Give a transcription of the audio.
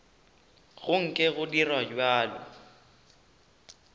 go nke go dirwa bjalo